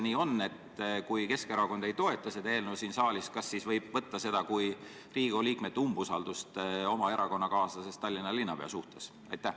Juhul kui Keskerakond ei toeta seda eelnõu siin saalis, kas siis seda võib võtta kui Riigikogu liikmete umbusaldusavaldust oma erakonnakaaslasest Tallinna linnapea suhtes?